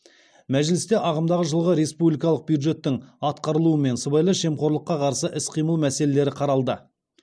мәжілісте ағымдағы жылғы республикалық бюджеттің атқарылуы мен сыбайлас жемқорлыққа қарсы іс қимыл мәселелері қаралды